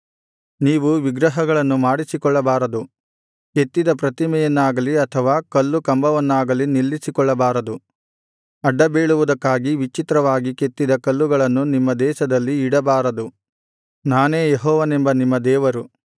ನೀವು ವಿಗ್ರಹಗಳನ್ನು ಮಾಡಿಸಿಕೊಳ್ಳಬಾರದು ಕೆತ್ತಿದ ಪ್ರತಿಮೆಯನ್ನಾಗಲಿ ಅಥವಾ ಕಲ್ಲು ಕಂಬವನ್ನಾಗಲಿ ನಿಲ್ಲಿಸಿಕೊಳ್ಳಬಾರದು ಅಡ್ಡಬೀಳುವುದಕ್ಕಾಗಿ ವಿಚಿತ್ರವಾಗಿ ಕೆತ್ತಿದ ಕಲ್ಲುಗಳನ್ನು ನಿಮ್ಮ ದೇಶದಲ್ಲಿ ಇಡಬಾರದು ನಾನೇ ಯೆಹೋವನೆಂಬ ನಿಮ್ಮ ದೇವರು